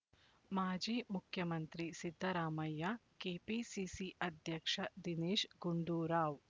ಮಾಜಿ ಮುಖ್ಯಮಂತ್ರಿ ಸಿದ್ದರಾಮಯ್ಯ ಕೆಪಿಸಿಸಿ ಅಧ್ಯಕ್ಷ ದಿನೇಶ್ ಗುಂಡೂರಾವ್